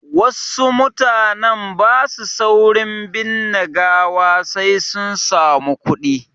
Wasu mutanen ba su saurin binne gawa sai sun samu kuɗi.